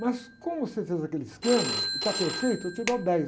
Mas como você fez aquele esquema e está perfeito, eu te dou dez.